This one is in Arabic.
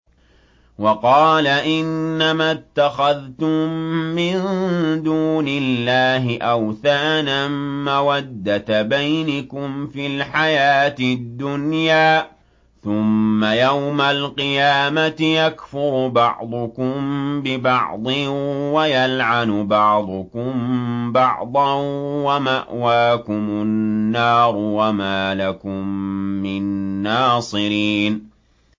وَقَالَ إِنَّمَا اتَّخَذْتُم مِّن دُونِ اللَّهِ أَوْثَانًا مَّوَدَّةَ بَيْنِكُمْ فِي الْحَيَاةِ الدُّنْيَا ۖ ثُمَّ يَوْمَ الْقِيَامَةِ يَكْفُرُ بَعْضُكُم بِبَعْضٍ وَيَلْعَنُ بَعْضُكُم بَعْضًا وَمَأْوَاكُمُ النَّارُ وَمَا لَكُم مِّن نَّاصِرِينَ